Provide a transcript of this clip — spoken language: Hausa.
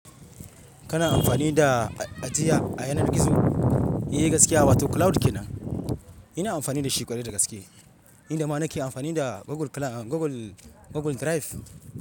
Kana amfani da ajiya a yanar gizo, ae gaskiya wato cloud kenan. Ina amfani dashi ƙwarai da gaske, nida ma nake amfani da Google Cloud, Google, Google Drive.